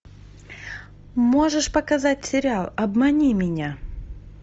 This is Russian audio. можешь показать сериал обмани меня